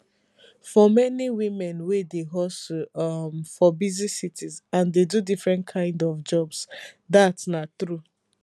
for many women wey dey hustle um for busy cities and dey do different kind of jobs dat na true